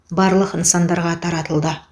барлық нысандарға таратылды